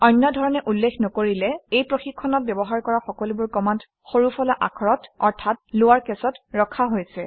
অন্য ধৰণে উল্লেখ নকৰিলে এই প্ৰশিক্ষণত ব্যৱহাৰ কৰা সকলোবোৰ কমাণ্ড সৰুফলা আখৰত অৰ্থাৎ লৱাৰ কেচত ৰখা হৈছে